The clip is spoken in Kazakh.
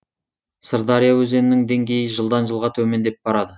сырдария өзенінің деңгейі жылдан жылға төмендеп барады